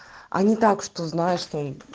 а не так что знаешь что